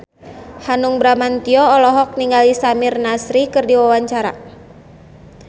Hanung Bramantyo olohok ningali Samir Nasri keur diwawancara